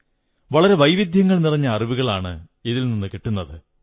വളരെ വൈവിധ്യങ്ങൾ നിറഞ്ഞ അറിവുകളാണ് കിട്ടുന്നത്